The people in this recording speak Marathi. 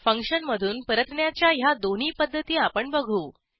फंक्शनमधून परतण्याच्या ह्या दोन्ही पध्दती आपण बघू